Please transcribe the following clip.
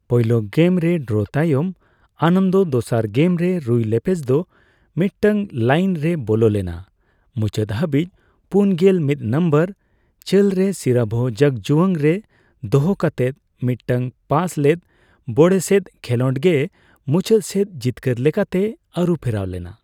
ᱯᱳᱭᱞᱳ ᱜᱮᱢ ᱨᱮ ᱰᱨᱚ ᱛᱟᱭᱚᱢ, ᱟᱱᱚᱱᱫᱚ ᱫᱚᱥᱟᱨ ᱜᱮᱢ ᱨᱮ ᱨᱩᱭ ᱞᱳᱯᱮᱡᱽ ᱫᱚ ᱢᱤᱫᱴᱟᱝ ᱞᱟᱭᱤᱱ ᱨᱮᱭᱵᱚᱞᱚ ᱞᱮᱱᱟ, ᱢᱩᱪᱟᱹᱫ ᱦᱟᱵᱤᱡ ᱯᱩᱱᱜᱮᱞ ᱢᱤᱛ ᱱᱚᱢᱵᱚᱨ ᱪᱟᱹᱞ ᱨᱮ ᱥᱤᱨᱵᱷᱚ ᱡᱩᱜᱽᱡᱚᱣᱟᱝ ᱨᱮ ᱫᱚᱦᱚ ᱠᱟᱛᱮ ᱢᱤᱫ ᱴᱟᱝ ᱯᱟᱥ ᱞᱮᱫ ᱵᱳᱲᱮᱥᱮᱫ ᱠᱷᱮᱞᱳᱰᱜᱮ ᱢᱩᱪᱟᱹᱫ ᱥᱮᱫ ᱡᱤᱛᱠᱟᱹᱨ ᱞᱮᱠᱟᱛᱮ ᱟᱨᱩ ᱯᱷᱮᱨᱟᱣ ᱞᱮᱱᱟ ᱾